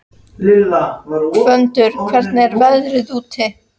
Gvöndur, hvernig er veðrið úti?